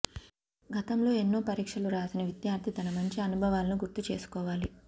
గతంలో ఎన్నో పరీక్షలు రాసిన విద్యార్థి తన మంచి అనుభవాలను గుర్తు చేసుకోవాలి